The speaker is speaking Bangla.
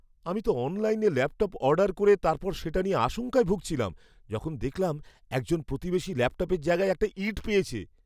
আমি তো অনলাইনে ল্যাপটপ অর্ডার করে তারপর সেটা নিয়ে আশঙ্কায় ভুগছিলাম, যখন দেখলাম একজন প্রতিবেশী ল্যাপটপের জায়গায় একটা ইঁট পেয়েছে!